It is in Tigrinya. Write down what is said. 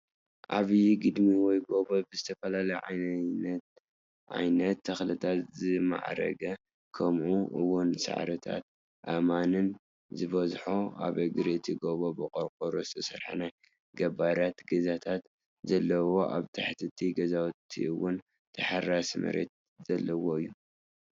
ዓብዪ ግድሚ ወይ ጎቦ ብዝተፈላለዩ ዓይነት ዓይነት ተክልታት ዝማዕረገን ከምኡ እውን ሳዕርታትን አእማንን ዝበዝሖ ኣብ እግሪ እቲ ጎቦ ብቆርቆሮ ዝተሰርሐ ናይ ገባራት ገዛታት ዘለውዎ ኣብ ትሕቲ እቲ ገዛውቲ እውን ተሓራሲ መሬት ዘለዎ እዩ፡፡